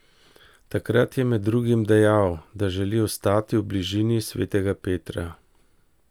Takrat je med drugim dejal, da želi ostati v bližini svetega Petra.